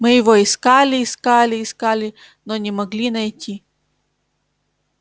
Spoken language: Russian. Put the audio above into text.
мы его искали искали искали но не могли найти